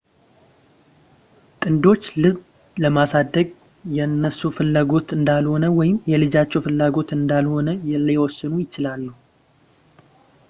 ጥንዶች ልጅ ማሳደግ የነሱ ፍላጎት እንዳልሆነ ወይም የልጃቸው ፍላጎት እንዳልሆነ ሊወስኑ ይችላሉ